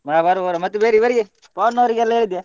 ಹ ಬರುವ ಬರುವ ಮತ್ತೆ ಬೇರೆ ಇವರಿಗೆ ಪವನ್ ಅವರಿಗೆಲ್ಲ ಹೇಳಿದ್ಯಾ?